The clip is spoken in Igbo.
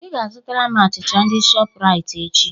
"Ị ga-azụtara m achịcha ndị shọpụraiti echi"